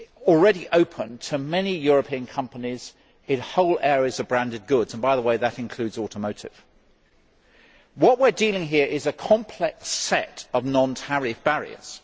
already open to many European companies in whole areas of branded goods, and by the way that includes automotive goods. What we are dealing with here is a complex set of non tariff barriers.